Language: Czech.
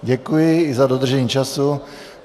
Děkuji i za dodržení času.